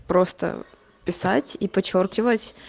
просто писать и подчёркивать